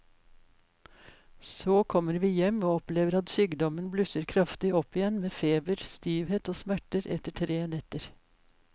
Så kommer vi hjem og opplever at sykdommen blusser kraftig opp igjen med feber, stivhet og smerter etter tre netter.